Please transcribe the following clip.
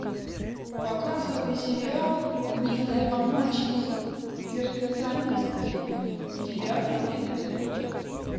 показывай сериал милые обманщицы перфекционистки девятый эпизод